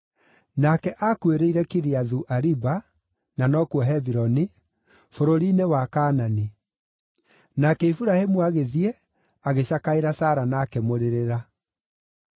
Nake aakuĩrĩire Kiriathu-Ariba (na nokuo Hebironi), bũrũri-inĩ wa Kaanani; nake Iburahĩmu agĩthiĩ, agĩcakaĩra Sara na akĩmũrĩrĩra.